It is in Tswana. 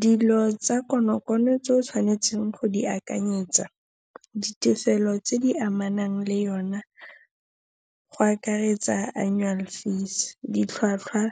Dilo tsa konokono tse o tshwanetseng go di akanyetsa, ditefelo tse di amanang le yona, go akaretsa annual fees, ditlhwatlhwa